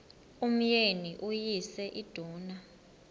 umyeni uyise iduna